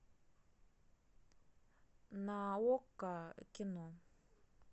на окко кино